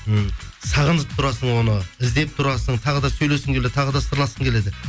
м сағынып тұрасың оны іздеп тұрасың тағы да сөйлескің келеді тағы да сырласқың келеді